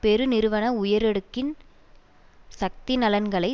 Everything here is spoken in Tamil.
பெருநிறுவன உயரடுக்கின் சக்தி நலன்களை